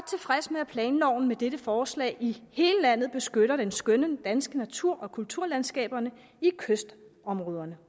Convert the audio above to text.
med at planloven med dette forslag i hele landet beskytter den skønne danske natur og kulturlandskaberne i kystområderne